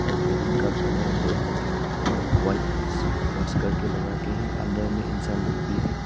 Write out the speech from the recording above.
और बैलून का colour red और वाइट मिक्स करके लगा के है अंदर में इंसान लोग भी है।